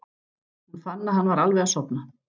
Hún fann að hann var alveg að sofna.